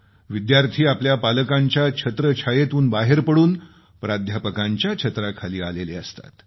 विद्यार्थी आपल्या पालकांच्या छत्र छायेतून बाहेर पडून प्राध्यापकांच्या छत्राखाली आलेले असतात